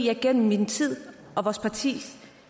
jeg gennem min tid